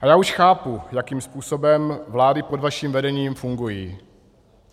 Ale já už chápu, jakým způsobem vlády pod vaším vedením fungují.